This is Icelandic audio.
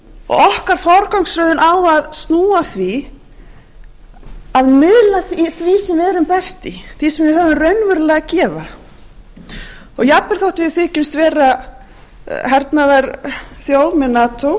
okkar forgangsröðun á að snúa að því að miðla af því sem við erum best í því sem við höfum raunverulega að gefa og jafnvel þótt við þykjumst vera hernaðarþjóð með nato öryggisþjóð